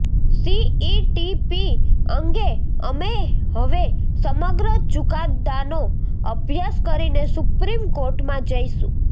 CETP અંગે અમે હવે સમગ્ર ચુકાદાનો અભ્યાસ કરીને સુપ્રીમ કોર્ટમાં જઇશું